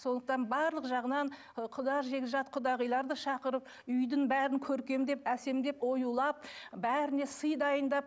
сондықтан барлық жағынан ы құда жекжат құдағиларды шақырып үйдің бәрін көркемдеп әсемдеп оюлап бәріне сый дайындап